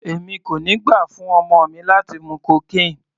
Èmi kò ní gbà fún ọmọ mi láti mú cocaine.